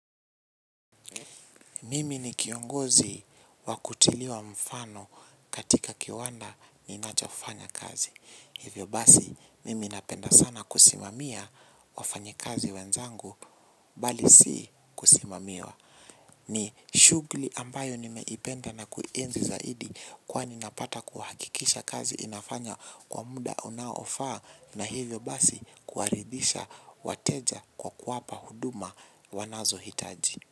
Mimi ni kiongozi wakutiliwa mfano katika kiwanda ninachofanya kazi. Hivyo basi mimi napenda sana kusimamia wafanyikazi wenzangu bali si kusimamiwa. Ni shugli ambayo nimeipenda na kuenzi zaidi kwa ninapata kuhakikisha kazi inafanya kwa muda unaofaa na hivyo basi kuaridisha wateja kwa kuwapa huduma wanazo hitaji.